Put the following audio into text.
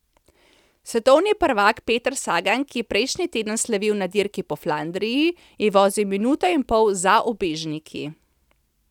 Svetovni prvak Peter Sagan, ki je prejšnji teden slavil na Dirki po Flandriji, je vozil minuto in pol za ubežniki.